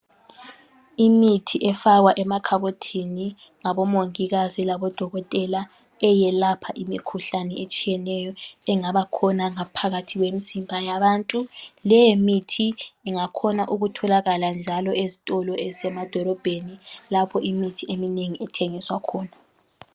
Imithi efakwa emakhabothini ngabomongikazi labodokotela eyalapha imikhuhlane etshiyeneyo engabakhona ngaphakathi kwemizimba yabantu, le mithi ingakhona ukutholaka njalo ezitolo ezisemadolobheni lapha imithi eminengi ithengiswa khona.